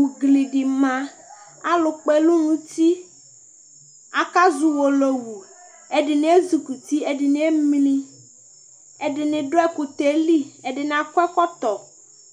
ugli di ma alo kpɔ ɛlu n'uti aka zɔ uwolowu ɛdini ezikuti ɛdini emli ɛdini do ɛkutɛ li ɛdini akɔ ɛkɔtɔ